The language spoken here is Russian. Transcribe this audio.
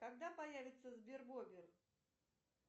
когда появится сбербобер